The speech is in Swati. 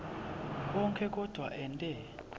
onkhe kodvwa ente